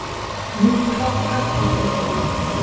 Mikil hálka olli óhöppum